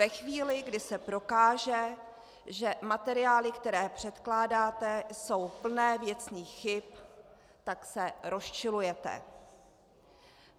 Ve chvíli, kdy se prokáže, že materiály, které předkládáte, jsou plné věcných chyb, tak se rozčilujete.